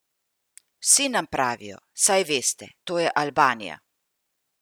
Vsi nam pravijo: 'Saj veste, to je Albanija.